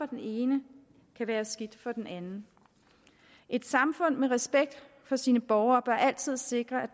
den ene kan være skidt for den anden et samfund med respekt for sine borgere bør altid sikre at